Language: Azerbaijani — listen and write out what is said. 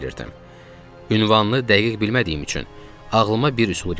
Ünvanını dəqiq bilmədiyim üçün ağlıma bir üsul gəldi.